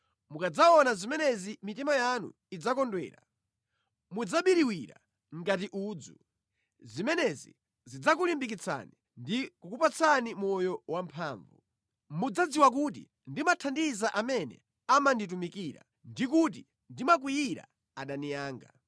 Mukadzaona zimenezi mitima yanu idzakondwera. Mudzabiriwira ngati udzu. Zimenezi zidzakulimbikitsani ndi kukupatsani moyo wamphamvu. Mudzadziwa kuti ndimathandiza amene amanditumikira ndi kuti ndimakwiyira adani anga.